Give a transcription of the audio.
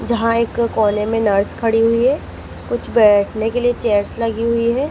जहां एक कोने में नर्स खड़ी हुई है कुछ बैठने के लिए चेयर्स लगी हुई है।